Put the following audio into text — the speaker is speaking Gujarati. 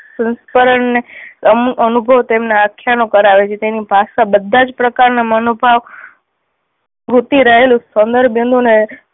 અનુ અનુભવ તેમના આખ્યાનો કરાવે છે. તેની ભાષા બધા જ પ્રકાર ના મનોભાવ વૃતિ રહેલું સૌંદર્ય બિંદુ ને